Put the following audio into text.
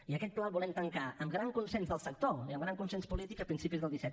i aquest pla el volem tancar amb gran consens del sector i amb gran consens polític a principis del disset